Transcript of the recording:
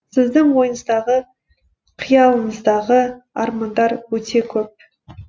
сіздің ойыңыздағы қиялыңыздағы армандар өте көп